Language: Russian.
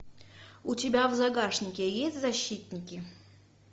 у тебя в загашнике есть защитники